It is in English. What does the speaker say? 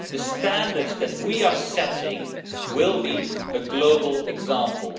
The standards that we are setting will be a global example.